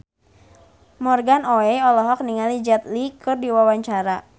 Morgan Oey olohok ningali Jet Li keur diwawancara